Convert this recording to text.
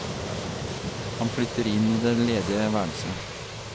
Han flytter inn i det ledige værelset.